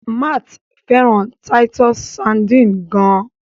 Matt fẹràn Titus sardines gaan.